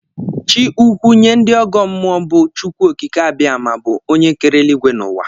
Chi ukwu nye ndị ọgọ mmụọ bụ Chukwuokikeabiama bụ onye kere eluigwe na ụwa